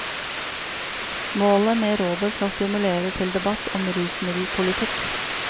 Målet med rådet skal stimulere til debatt om rusmiddelpolitikk.